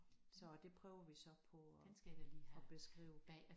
Så det prøver vi så på at at beskrive